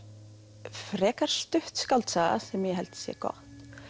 frekar stutt skáldsaga sem ég held að sé gott